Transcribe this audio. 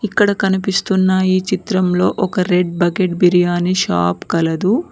ఇక్కడ కనిపిస్తున్న ఈ చిత్రంలో ఒక రెడ్ బకెట్ బిర్యానీ షాప్ కలదు.